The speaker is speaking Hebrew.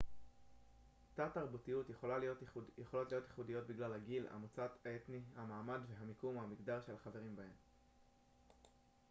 תת-תרבויות יכולות להיות ייחודיות בגלל הגיל המוצא האתני המעמד המיקום ו/או המגדר של החברים בהן